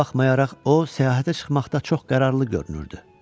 Buna baxmayaraq o, səyahətə çıxmaqda çox qərarlı görünürdü.